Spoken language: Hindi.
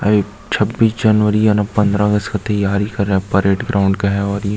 छब्बीस जनवरी पंदरा अगस्त का तैयारी कर रहा है परेड ग्राउंड है ये --